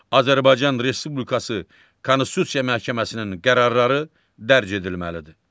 Azərbaycan Respublikası Konstitusiya Məhkəməsinin qərarları dərc edilməlidir.